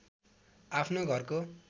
आफ्नो घरको